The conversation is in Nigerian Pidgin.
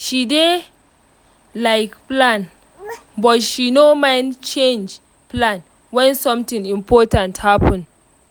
she dey like plan but she no mind change plan when something important happen.